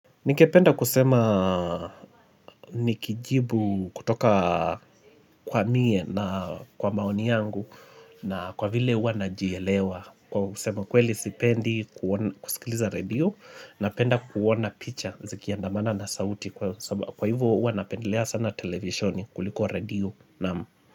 Nikependa kusema nikijibu, kutoka kwa mie na kwa maoni yangu na kwa vile uanajielewa. Kwa kusema kweli sipendi kusikiliza redio, napenda kuona picha zikiandamana na sauti. Kwa hivyo hua napendelea sana televishoni kuliko redio nam.